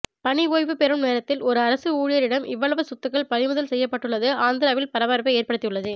பணி ஓய்வு பெறும் நேரத்தில் ஒரு அரசு ஊழியரிடம் இவ்வளவு சொத்துக்கள் பறிமுதல் செய்யப்பட்டுள்ளது ஆந்திராவில் பரபரப்பை ஏற்படுத்தியுள்ளது